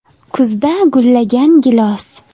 Kuzda gullagan gilos.